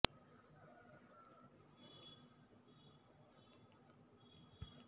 acetic ಆಮ್ಲದ ಒಂದು ಕಡಿಮೆ ವಿಷಯದೊಂದಿಗೆ ಆಹಾರ ಉತ್ಪನ್ನಗಳಲ್ಲಿ ಪುರಸ್ಕಾರ ದೇಹದಲ್ಲಿ ಕೊಲೆಸ್ಟರಾಲ್ ಮಟ್ಟವನ್ನು ಕಡಿಮೆ ಮಾಡುತ್ತದೆ